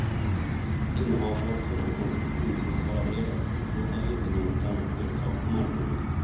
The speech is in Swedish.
Innehavare av sådan koncession måste vara beredd att upplåta ledningen åt andra företag på marknaden.